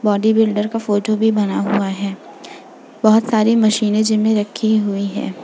Body builder का photo भी बना हुआ है। बोहोत सारी मशीने जिम में रखी हुई है।